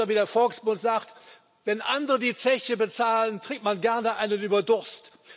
Oder wie der Volksmund sagt Wenn andere die Zeche bezahlen, trinkt man gerne einen über den Durst.